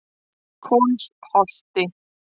Kolsholti